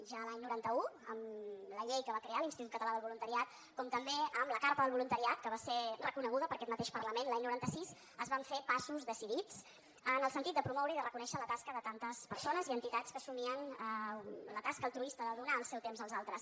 ja l’any noranta un amb la llei que va crear l’institut català del voluntariat com també amb la carta del voluntariat que va ser reconeguda per aquest mateix parlament l’any noranta sis es van fer passos decidits en el sentit de promoure i reconèixer la tasca de tantes persones i enti tats que assumien la tasca altruista de donar el seu temps als altres